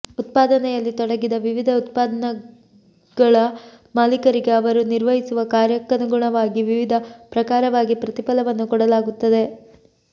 ಉತ್ಪಾದನೆಯಲ್ಲಿ ತೊಡಗಿದ ವಿವಿಧ ಉತ್ಪಾದನಾಂಗಗಳ ಮಾಲಿಕರಿಗೆ ಅವರು ನಿರ್ವಹಿಸುವ ಕಾರ್ಯಕ್ಕನುಗುಣವಾಗಿ ವಿವಿಧ ಪ್ರಕಾರವಾಗಿ ಪ್ರತಿಫಲವನ್ನು ಕೊಡಲಾಗುತ್ತದೆ